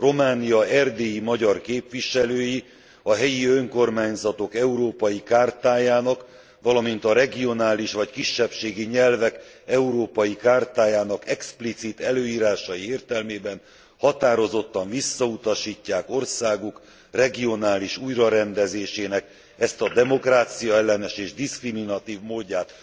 Románia erdélyi magyar képviselői a Helyi Önkormányzatok Európai Chartajának, valamint a Regionális vagy Kisebbségi Nyelvek Európai Chartajának explicit előírásai értelmében határozottan visszautasítják országuk regionális újrarendezésének ezt a demokráciaellenes és diszkriminatív módját.